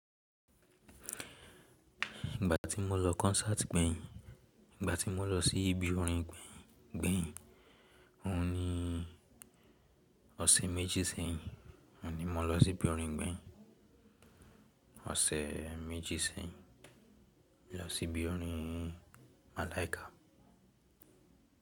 Ìgbà tí mo lọ concert gbẹ̀yìn, ìgbà tí mo lọ sí ibi orin gbẹ̀yìn, òhun ni ọ̀sẹ̀ méjì sẹ́yìn, òhun ni mo lọ sí ibi orin gbẹ̀yìn. Ọ̀sẹ̀ méjì sẹ́yìn, mo lọ sí ibi orin Malaika.